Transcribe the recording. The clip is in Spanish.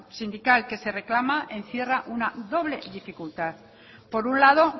sindical que se reclama encierra una doble dificultad por un lado